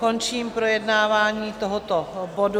Končím projednávání tohoto bodu.